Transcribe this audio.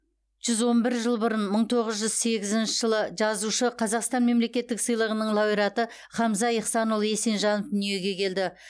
жүз он бір жыл бұрын мың тоғыз жүз сегізінші жылы жазушы қазақстан мемлекеттік сыйлығының лауреаты хамза ихсанұлы есенжанов дүниеге келді